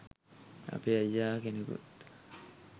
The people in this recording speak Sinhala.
අපේ අයියා කෙනෙකුත්